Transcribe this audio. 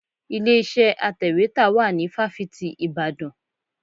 Ilé iṣẹ́ atẹ̀wétà wà ní fáfitì Ìbàdàn.